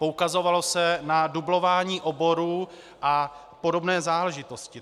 Poukazovalo se na dublování oborů a podobné záležitosti.